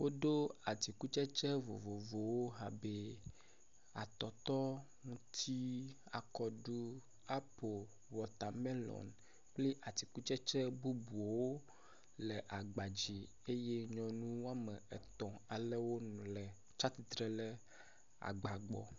Woɖo atikutsetse vovovowo abe, atɔtɔ, ŋtsi, akɔɖu, apel, watamelɔn, kple atikutsetse bubuwo le agba dzi eye nyɔnu wɔme etɛ̃ ale wo le tsi atsitre ɖe agba gbɔ.